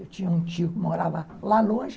Eu tinha um tio que morava lá longe.